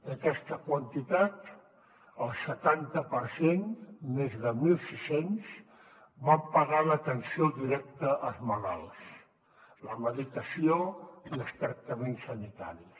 d’aquesta quantitat el setanta per cent més de mil sis cents van pagar l’atenció directa als malalts la medicació i els tractaments sanitaris